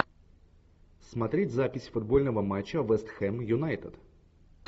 смотреть запись футбольного матча вест хэм юнайтед